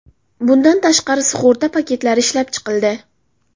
Bundan tashqari, sug‘urta paketlari ishlab chiqildi.